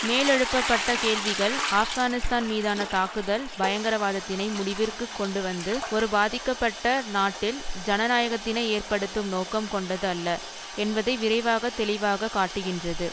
மேலெழுப்பப்பட்ட கேள்விகள் ஆப்கானிஸ்தான் மீதான தாக்குதல் பயங்கரவாதத்தினை முடிவிற்கு கொண்டுவந்து ஒரு பாதிக்கப்பட்ட நாட்டில் ஜனநாயாகத்தினை ஏற்படுத்தும் நோக்கம் கொண்டது அல்ல என்பதை விரைவாக தெளிவாக காட்டுகின்றது